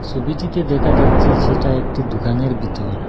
ছবিটিতে দেখা যাচ্ছে সেটা একটি দোকানের বিতর ।